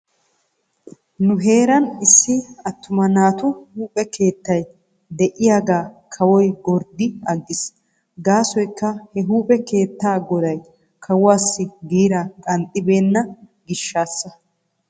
Nu heeran issi attuma naatu huuphphe keettay de'iyaagaa kawoy go'eddi aggis gaasoykka he huuphphe keetaa goday kawuwaassi giiraa qanxxibeena gishaassa.